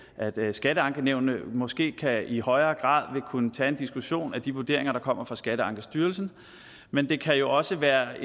skatteankenævnene måske i højere grad vil kunne tage en diskussion af de vurderinger der kommer fra skatteankestyrelsen men det kan jo også være